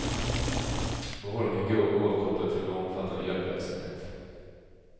Behållningen går oavkortad till vår omfattande hjälpverksamhet.